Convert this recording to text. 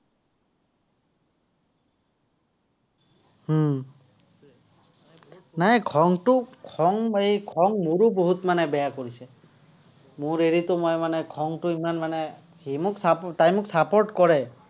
হম নাই খংটো, খং এই মোৰো বহুত মানে বেয়া কৰিছে। মোৰ হেৰিটো মই মানে খংটো ইমান মানে, সি মোক, তাই মোক support কৰে।